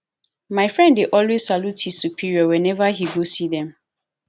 my friend dey always salute his superior whenever he go see them